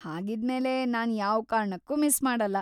ಹಾಗಿದ್ಮೇಲೆ, ನಾನ್ ಯಾವ್ ಕಾರಣಕ್ಕೂ ಮಿಸ್‌ ಮಾಡಲ್ಲ.